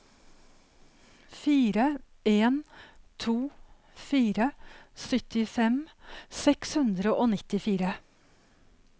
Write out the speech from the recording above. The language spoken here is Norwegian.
fire en to fire syttifem seks hundre og nittifire